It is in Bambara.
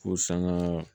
Ko sanga